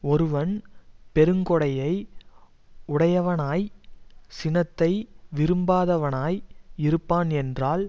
ஒருவன் பெருங்கொடையை உடையவனாய் சினத்தை விரும்பாதவனாய் இருப்பான் என்றால்